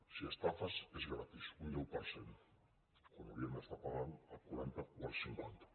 si estafes és gratis un deu per cent quan haurien d’estar pagant el quaranta o el cinquanta